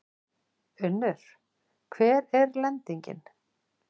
Unnur, hver er lendingin?